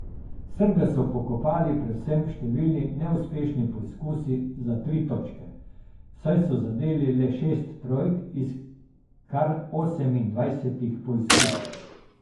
Srbe so pokopali predvsem številni neuspešni poizkusi za tri točke, saj so zadeli le šest trojk iz kar osemindvajsetih poizkusov.